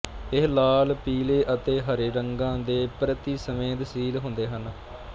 ਇਹ ਲਾਲ ਪੀਲੇ ਅਤੇ ਹਰੇ ਰੰਗਾਂ ਦੇ ਪ੍ਰਤੀ ਸੰਵੇਦਨਸ਼ੀਲ ਹੁੰਦੇ ਹਨ